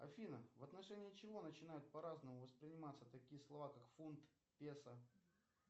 афина в отношении чего начинают по разному восприниматься такие слова как фунт песо